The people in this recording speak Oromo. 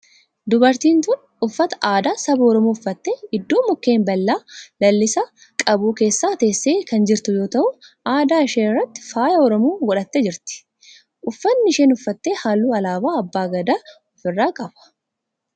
Dubartiin tun uffata aadaa saba oromoo uffattee iddoo mukkeen baala lalisaa qabu keessa teessee kan jirtu yoo ta'u adda ishee irratti faaya oromoo godhattee jirti. uffanni isheen uffatte halluu alaabaa abbaa Gadaa of irraa qaba.